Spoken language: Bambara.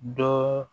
Dɔ